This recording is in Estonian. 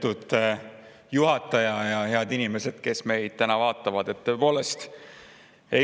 Lugupeetud juhataja ja head inimesed, kes meid täna vaatavad!